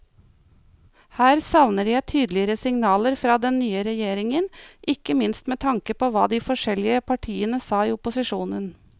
Her savner jeg tydeligere signaler fra den nye regjeringen, ikke minst med tanke på hva de forskjellige partiene sa i opposisjon.